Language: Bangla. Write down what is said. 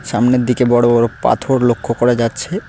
সামনের দিকে বড়ো বড়ো পাথর লক্ষ্য করা যাচ্ছে।